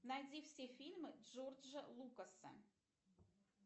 найди все фильмы джорджа лукаса